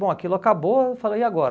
Bom, aquilo acabou, eu falei, e agora?